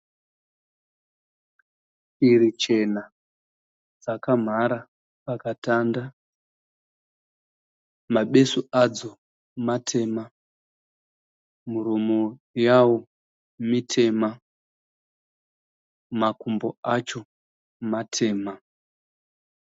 Shiri chena dzakamhara pakatanda ,mabesu adzo matema muromo yawo mitema ,makumbo acho matema.